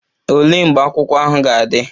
Olee mgbe akwụkwọ ahụ ga-adị?